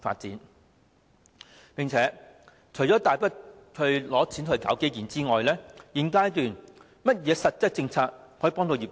除了批出大筆撥款搞基建外，在現階段還有甚麼實質政策可以協助業界？